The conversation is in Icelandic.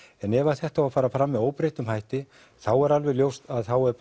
en ef þetta á að fara fram með óbreyttum hætti þá er alveg ljóst að þá er